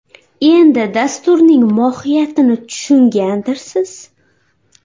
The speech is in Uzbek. Endi dasturning mohiyatini tushungandirsiz!